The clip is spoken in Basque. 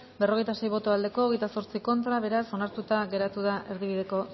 berrogeita sei boto aldekoa veintiocho contra beraz onartuta geratuta erdibideko